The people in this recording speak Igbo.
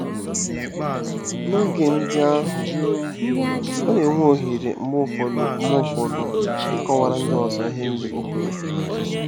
N'oge ndị ahụ, ọ na-enwe ohere mgbe ụfọdụ mgbe ụfọdụ ịkọwara ndị ọzọ ihe ndị o kweere.